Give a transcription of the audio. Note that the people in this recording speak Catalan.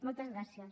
moltes gràcies